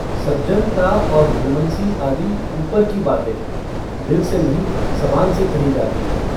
सजनता और भलमनसी आदि ऊपर की बातें हैं दिल से नहीं जबान से कही जाती हैं।